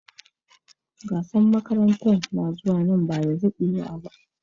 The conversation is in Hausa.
Gasar makaranta ya kusa.